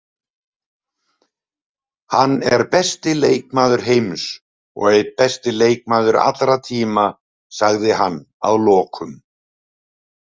Hann er besti leikmaður heims og einn besti leikmaður allra tíma, sagði hann að lokum.